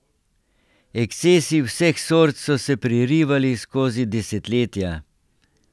Ekscesi vseh sort so se prerivali skozi desetletja.